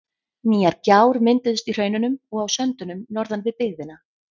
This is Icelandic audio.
Nýjar gjár mynduðust í hraununum og á söndunum norðan við byggðina.